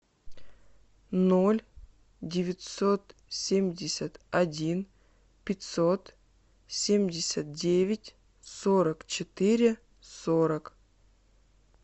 ноль девятьсот семьдесят один пятьсот семьдесят девять сорок четыре сорок